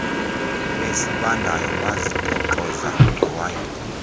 esibandayo bazitoxoza ngewayini